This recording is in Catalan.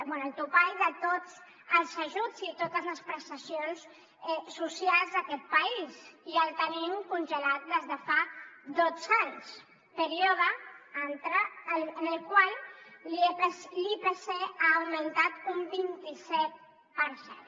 bé el topall de tots els ajuts i totes les prestacions socials d’aquest país i el tenim congelat des de fa dotze anys període en el qual l’ipc ha augmentat un vint i set per cent